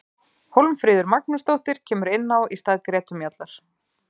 Hólmfríður Magnúsdóttir kemur inná í stað Gretu Mjallar.